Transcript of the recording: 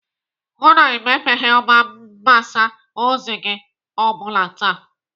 Hụụ na Ị mepeghị ọba mgbasa ozi gị o bụla taa!